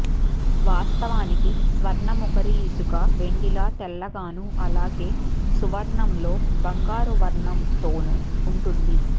వాస్తవానికి స్వర్ణముఖరీ ఇసుక వెండిలా తెల్లగానూ అలాగే సువర్ణంలో బంగారు వర్ణంతోనూ ఉంటుంది